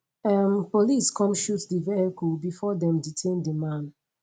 um police come shoot di vehicle bifor dem detain di man